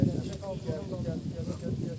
Hə, gəldi, gəldi, gəldi.